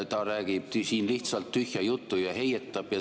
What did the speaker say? Ta räägib siin lihtsalt tühja juttu ja heietab.